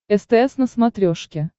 стс на смотрешке